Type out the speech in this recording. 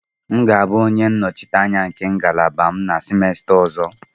M ga-abụ onye nnọchiteanya nke ngalaba m na semester ọzọ.